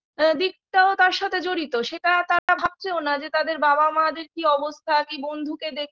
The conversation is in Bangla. দিকটাও তার সাথে জড়িত সেটা তারা ভাবছেও না যে তাদের বাবা মা দের কি অবস্থা কি বন্ধুকে দেখে